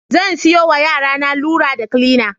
Zan siyowa yarana lura da kilina.